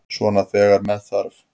Svona þegar með þarf.